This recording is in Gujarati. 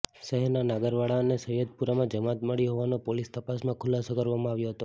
શહેરના નાગરવાડા અને સૈયદપુરામાં જમાત મળી હોવાનો પોલીસ તપાસમાં ખુલાસો કરવામાં આવ્યો હતો